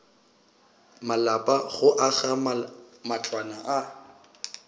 malapa go aga matlwana a